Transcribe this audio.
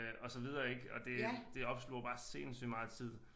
Og så videre ik og det det opsluger bare sindssygt meget tid